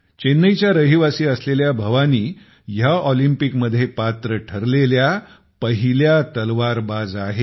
चेन्नईच्या रहिवासी असलेल्या भवानी ह्या ऑलिंपिकमध्ये पात्र ठरलेल्या पहिल्या तालवारबाज आहेत